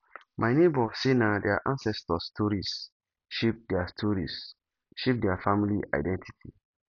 my nebor say na their ancestors stories shape their stories shape their family identity